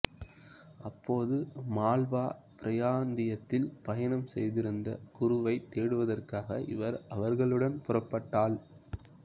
அப்போது மால்வா பிராந்தியத்தில் பயணம் செய்திருந்த குருவைத் தேடுவதற்காக இவர் அவர்களுடன் புறப்பட்டாள்